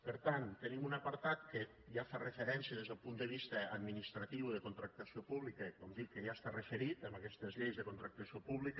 per tant tenim un apartat que ja fa referència des del punt de vista administratiu de contractació pública com dic que ja està referit a aquestes lleis de contractació pública